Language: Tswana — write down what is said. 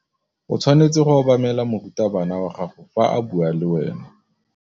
O tshwanetse go obamela morutabana wa gago fa a bua le wena.